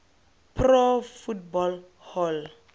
pro football hall